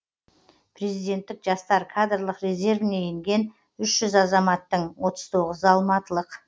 президенттік жастар кадрлық резервіне енген үш жүз азаматтың отыз тоғызы алматылық